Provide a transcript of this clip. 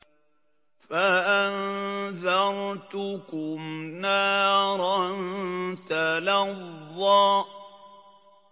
فَأَنذَرْتُكُمْ نَارًا تَلَظَّىٰ